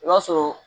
I b'a sɔrɔ